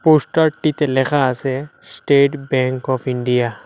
পোস্টারটিতে লেখা আছে State Bank of India.